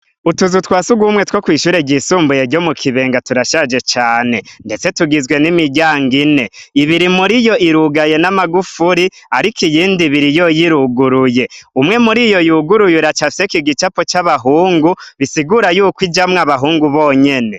Utuzu twasi ugumwe two kwishure ryisumbuye ryo mu kibenga turashaje cane, ndetse tugizwe n'imiryango ine ibiri muri yo irugaye n'amagufuri, ariko iyindi biri yo yiruguruye umwe muri iyo yuguruye iracaseko igicapo c'abahungu bisigura yuko ijamwo abahungu bonyene.